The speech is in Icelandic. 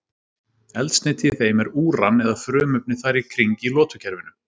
eldsneyti í þeim er úran eða frumefni þar í kring í lotukerfinu